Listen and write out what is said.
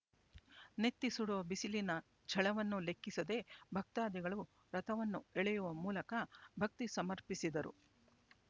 ನೆತ್ತಿ ಸುಡುವ ಬಿಸಿಲಿನ ಝಳವನ್ನು ಲೆಕ್ಕಿಸದೆ ಭಕ್ತಾದಿಗಳು ರಥವನ್ನು ಎಳೆಯುವ ಮೂಲಕ ಭಕ್ತಿ ಸಮರ್ಪಿಸಿದರು